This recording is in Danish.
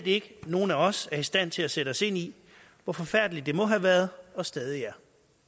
ikke at nogen af os reelt er i stand til at sætte sig ind i hvor forfærdeligt det må have været og stadig er